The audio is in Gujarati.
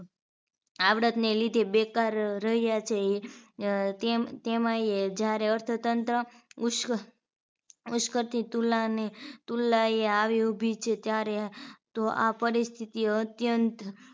આવડતને લીધે બેકાર રહ્યા છે તેમ તેમાં એ જ્યારે અર્થતંત્ર ઉસ્ક ઉસ્કતી તુલાને તુલનાએ આવી ઊભી છે ત્યારે તો આ પરિસ્થિતિ અત્યંત